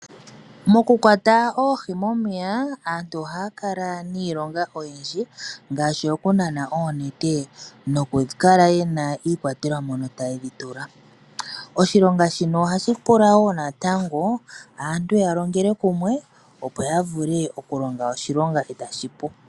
Mokukwata oohi momeya, aantu ohaya kala niilonga oyindji ngaashi okunana oonete noku kala ye na iikwatelwa mono taye dhi tula. Oshilonga shino ohashi pula woo natango aantu yalongele kumwe opo yavule okulonga oshilonga e tashi pu.